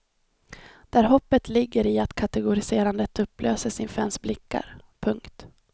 Där hoppet ligger i att kategoriserandet upplöses inför ens blickar. punkt